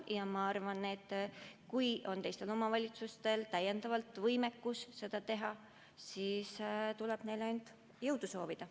Ja ma arvan, et kui on teistel omavalitsustel ka võimekust seda teha, siis tuleb neile jõudu soovida.